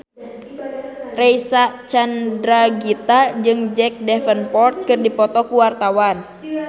Reysa Chandragitta jeung Jack Davenport keur dipoto ku wartawan